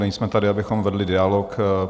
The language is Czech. Nejsme tady, abychom vedli dialog.